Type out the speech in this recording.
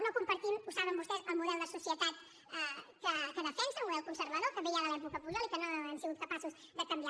no compartim ho saben vostès el model de societat que defensen un model conservador que ve ja de l’època pujol i que no hem sigut capaços de canviar